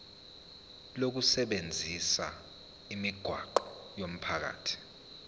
lokusebenzisa imigwaqo yomphakathi